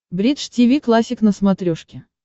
бридж тиви классик на смотрешке